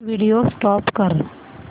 video stop कर